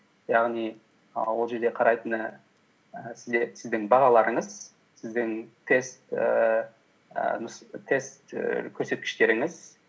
яғни і ол жерде қарайтыны і сіздің бағаларыңыз сіздің ііі тест і көрсеткіштеріңіз